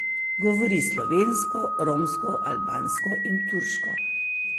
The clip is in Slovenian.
Govori slovensko, romsko, albansko in turško.